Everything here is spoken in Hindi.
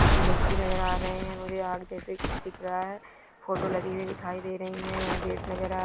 व्यक्ति नजर आ रहे है| मुझे आग जैसे कुछ दिख रहा है फोटो लगी हुई दिखाई दे रही है | यहाँ गेट नजर आ--